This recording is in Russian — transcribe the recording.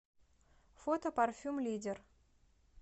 фото парфюм лидер